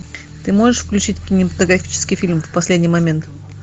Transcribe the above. ты можешь включить кинематографический фильм в последний момент